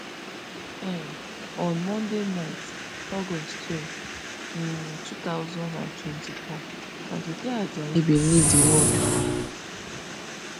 um on monday night august twelve um two thousand and twenty-four aduke ajayi bin leave di world